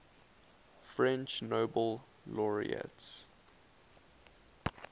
french nobel laureates